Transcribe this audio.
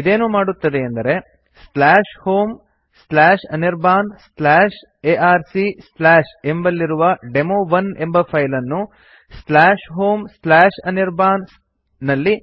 ಇದೇನು ಮಾಡುತ್ತದೆಯೆಂದರೆ homeanirbanarc ಎಂಬಲ್ಲಿರುವ ಡೆಮೊ1 ಎಂಬ ಫೈಲ್ ಅನ್ನು homeanirban ನಲ್ಲಿ